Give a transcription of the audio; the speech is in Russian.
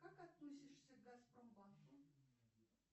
как относишься к газпромбанку